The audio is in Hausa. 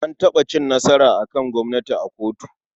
An taɓa cin nasara a kan gwamnati a kotu.